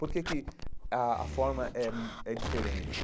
Por que que a a forma é hum é diferente?